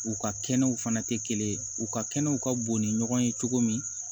U ka kɛnɛw fana tɛ kelen ye u ka kɛnɛw ka bon ni ɲɔgɔn ye cogo min